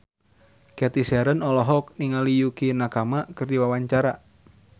Cathy Sharon olohok ningali Yukie Nakama keur diwawancara